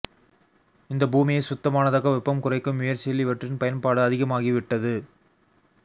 இந்த பூமியைச் சுத்தமானதாக வெப்பம் குறைக்கும் முயற்சியில் இவற்றின் பயன்பாடு அதிகமாகிவிட்டது